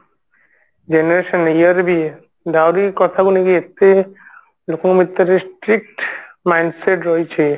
generation year ରେ ବି ଦାଉରୀ କଥା କୁ ନେଇ ଏତେ ଲୋକ ଏତେ strict mindset ରହିଛି